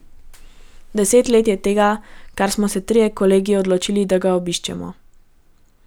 Deset let je tega, kar smo se trije kolegi odločili, da ga obiščemo.